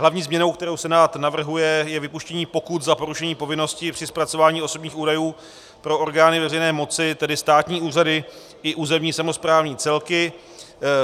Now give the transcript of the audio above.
Hlavní změnou, kterou Senát navrhuje, je vypuštění pokut za porušení povinností při zpracování osobních údajů pro orgány veřejné moci, tedy státní úřady i územně samosprávné celky.